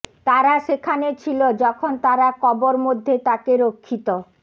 তারা সেখানে ছিল যখন তারা কবর মধ্যে তাকে রক্ষিত